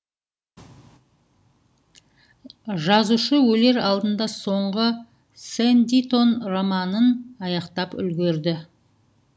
жазушы өлер алдында соңғы сэндитон романын аяқтап үлгерді